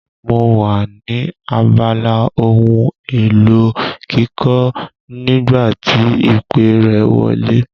Mo wà ní abala ohun èlò ilé kíkọ́ nígbà tí ìpè rẹ wọlé.